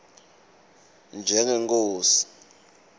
njengenkhosi